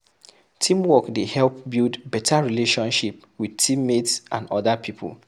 Teamwork dey help build better relationship with team mates and other people